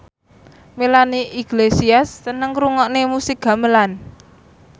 Melanie Iglesias seneng ngrungokne musik gamelan